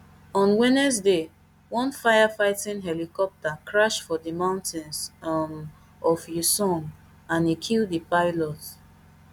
on wednesday one firefighting helicopter crash for di mountains um of uiseong and e kill di pilot